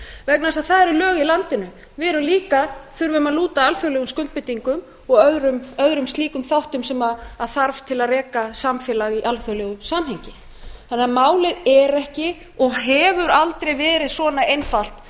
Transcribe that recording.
vegna þess að það eru lög í landinu við þurfum líka að lúta alþjóðlegum skuldbindingum og öðrum slíkum þáttum sem þarf til að reka samfélag í alþjóðlegu samhengi þannig að málið er ekki og hefur aldrei verið svona einfalt